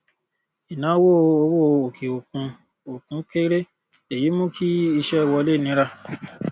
ìnáwó owó òkè òkun òkun kéré èyí mú kí iṣẹ wọlé nira